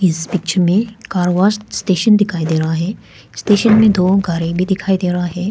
इस पिक्चर में car wash station दिखाई दे रहा है स्टेशन में दो गाड़ी में दिखाई दे रहा है।